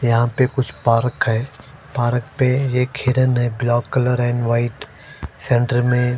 यहाँ पर कुछ पार्क है पार्क पे एक हिरन हैं black colour and white centre में--